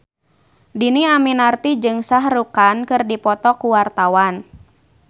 Dhini Aminarti jeung Shah Rukh Khan keur dipoto ku wartawan